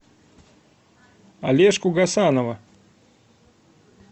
олежку гасанова